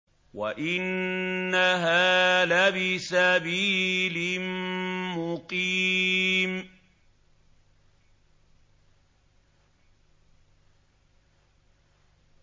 وَإِنَّهَا لَبِسَبِيلٍ مُّقِيمٍ